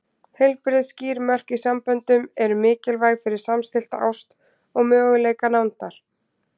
Heilbrigð, skýr mörk í samböndum eru mikilvæg fyrir samstillta ást og möguleika nándar.